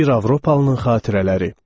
Bir Avropalının xatirələri.